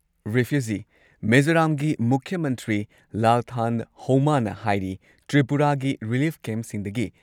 refugee ꯃꯤꯖꯣꯔꯥꯝꯒꯤ ꯃꯨꯈ꯭ꯌ ꯃꯟꯇ꯭ꯔꯤ ꯂꯥꯜꯊꯟ ꯍꯧꯃꯥꯅ ꯍꯥꯏꯔꯤ ꯇ꯭ꯔꯤꯄꯨꯔꯥꯒꯤ ꯔꯤꯂꯤꯐ ꯀꯦꯝꯞꯁꯤꯡꯗꯒꯤ